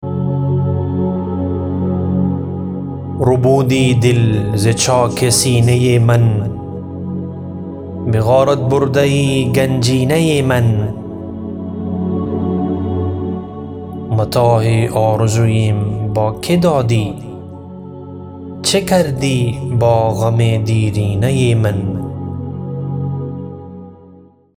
ربودی دل ز چاک سینه من به غارت برده یی گنجینه من متاع آرزویم با که دادی چه کردی با غم دیرینه من